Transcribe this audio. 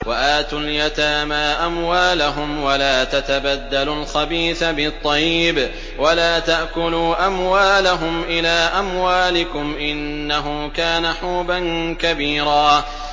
وَآتُوا الْيَتَامَىٰ أَمْوَالَهُمْ ۖ وَلَا تَتَبَدَّلُوا الْخَبِيثَ بِالطَّيِّبِ ۖ وَلَا تَأْكُلُوا أَمْوَالَهُمْ إِلَىٰ أَمْوَالِكُمْ ۚ إِنَّهُ كَانَ حُوبًا كَبِيرًا